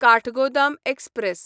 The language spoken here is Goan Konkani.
काठगोदाम एक्सप्रॅस